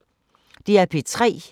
DR P3